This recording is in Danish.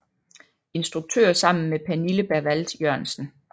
Instruktør sammen med Pernille Bervald Jørgensen